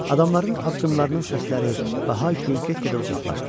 Adamların addımlarının səsləri və hayküyü get-gedə uzaqlaşdı.